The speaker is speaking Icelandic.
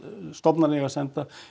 stofnanir eiga að senda